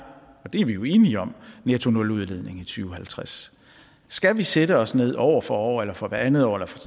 og det er vi enige om nettonuludledning i to og halvtreds skal vi sætte os ned år for år eller for hvert andet år eller for